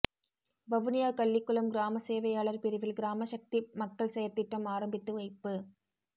வவுனியா கள்ளிக்குளம் கிராமசேவையாளர் பிரிவில் கிராம சக்தி மக்கள் செயற்திட்டம் ஆரம்பித்துவைப்பு